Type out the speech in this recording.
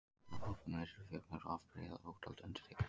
Af vatnabobbum eru til fjölmörg afbrigði og ótal undirtegundir.